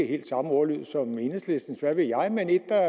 helt samme ordlyd som enhedslistens hvad ved jeg men et der